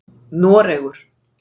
Noregur